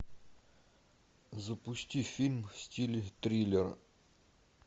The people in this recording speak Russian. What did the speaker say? запусти фильм в стиле триллер